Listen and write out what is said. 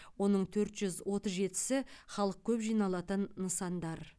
оның төрт жүз отыз жетісі халық көп жиналатын нысандар